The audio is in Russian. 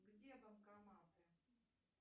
где банкоматы